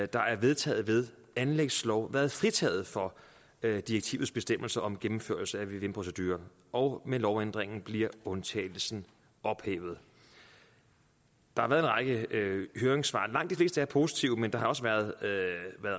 der er vedtaget ved anlægslov været fritaget for direktivets bestemmelser om gennemførelse af en vvm procedure og med lovændringen bliver undtagelsen ophævet der har været en række høringssvar og langt de fleste er positive men der har også været